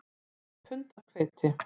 Þetta er pund af hveiti